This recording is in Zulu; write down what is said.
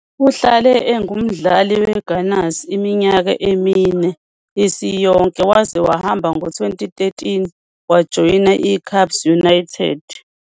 Uhlale engumdlali weGunners iminyaka emine isiyonke waze wahamba ngo-2013 wajoyina iCAPS United.